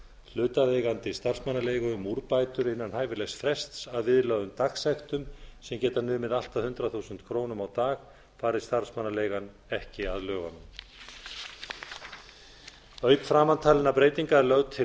hlutaðeigandi starfsmannaleigu um úrbætur innan hæfilegs frests að viðlögðum dagsektum sem geta numið allt að hundrað þúsund krónur á dag fari starfsmannaleigan ekki að lögunum auk framantalinna breytinga er lögð til